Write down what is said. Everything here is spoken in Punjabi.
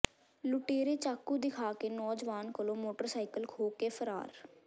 ਲੁਟੇਰੇ ਚਾਕੂ ਦਿਖਾ ਕੇ ਨੌਜਵਾਨ ਕੋਲੋਂ ਮੋਟਰਸਾਈਕਲ ਖੋਹ ਕੇ ਫ਼ਰਾਰ